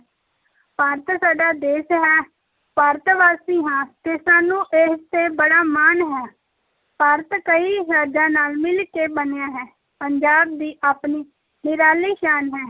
ਭਾਰਤ ਸਾਡਾ ਦੇਸ ਹੈ, ਭਾਰਤਵਾਸੀ ਹਾਂ ਤੇ ਸਾਨੂੰ ਇਸ ‘ਤੇ ਬੜਾ ਮਾਣ ਹੈ, ਭਾਰਤ ਕਈ ਰਾਜਾਂ ਨਾਲ ਮਿਲ ਕੇ ਬਣਿਆ ਹੈ, ਪੰਜਾਬ ਦੀ ਆਪਣੀ ਨਿਰਾਲੀ ਸ਼ਾਨ ਹੈ।